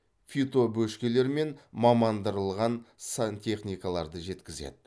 фитобөшкелер мен мамандырылған сантехникаларды жеткізеді